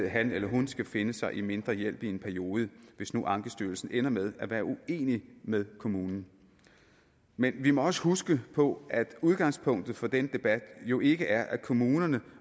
han eller hun skal finde sig i mindre hjælp i en periode hvis nu ankestyrelsen ender med at være uenig med kommunen men vi må også huske på at udgangspunktet for det jo ikke er at kommunerne